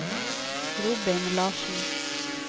Robin Larsen